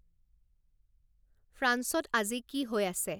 ফ্রাঞ্চত আজি কি হৈ আছে